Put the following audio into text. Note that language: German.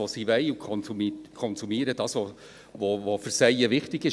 Sie konsumieren das, was sie wollen und was für sie wichtig ist.